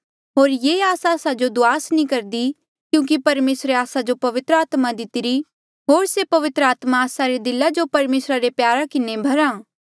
होर ये आस आस्सा जो दुआस नी करदी क्यूंकि परमेसरे आस्सा जो पवित्र आत्मा दितिरी होर से पवित्र आत्मा आस्सा रे दिला जो परमेसरा रे प्यारा किन्हें भरा